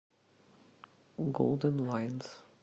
голдэн лайнс